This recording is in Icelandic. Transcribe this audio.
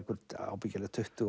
ábyggilega tuttugu